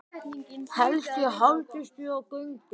Helst ég haldist við á göngu.